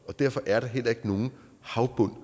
og derfor er der heller ikke nogen havbund